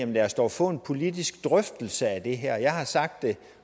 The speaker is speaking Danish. lad os dog få en politisk drøftelse af det her jeg har sagt det